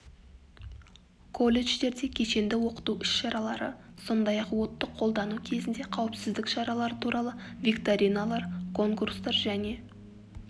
колледждерде кешенді оқыту ісшаралары сондай ақ отты қолдану кезінде қауіпсіздік шаралары туралы викториналар конкурстар және